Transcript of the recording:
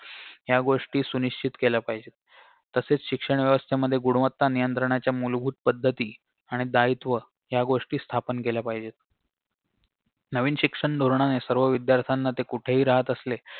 या गोष्टी सुनिश्चित केल्या पाहिजेत तसेच शिक्षण व्यवस्थेमध्ये गुणवत्ता नियंत्रणाच्या मूलभूत पद्धती आणि दायित्व या गोष्टी स्थापन केल्या पाहिजेत नवीन शिक्षण धोरणाने सर्व विद्यार्त्याना ते कुठेही राहत असले